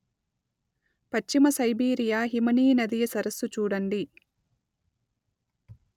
పశ్చిమ సైబీరియ హిమనీనదీయ సరస్సు చూడండి